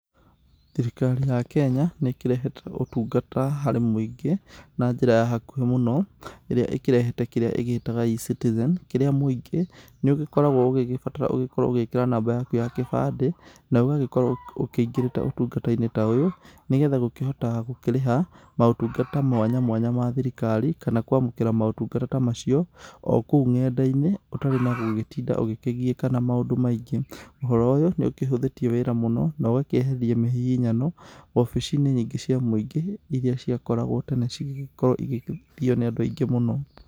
Thirikari ya Kenya nĩ ĩkĩrehete ũtungata harĩ mũingĩ na njĩra ya hakuhĩ mũno irĩa ĩkĩrehete kĩrĩa ĩgĩtaga E-Citizen. Kĩrĩa mũingĩ nĩ ũgĩkoragwo ũgĩgĩbatara ũgĩkorwo ũgĩkĩra namba yaku ya gĩbandĩ na ũgagĩkorwo ũkĩingĩrĩte ũtungata-inĩ ta ũyũ. Nĩ getha gũkĩhota kũrĩha maũtungata mwanya mwanya ma thirikari kana kũamũkira motungata macio okũu ng'enda-inĩ ũtarĩ na gũgĩtinda ũkĩgiĩka na maũndũ maingĩ. Ũhoro ũyũ nĩ ũkĩhuthĩtie wĩra mũno na ũkeheria mĩhihinyano obici-inĩ nyingĩ cia mũingĩ iria ciakoragwo tene cigĩgĩkorwo cigĩthio nĩ andũ aingĩ mũno.